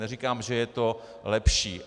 Neříkám, že je to lepší.